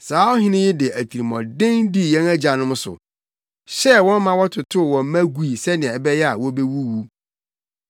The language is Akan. Saa ɔhene yi de atirimɔden dii yɛn agyanom so, hyɛɛ wɔn ma wɔtotow wɔn mma gui sɛnea ɛbɛyɛ a wobewuwu.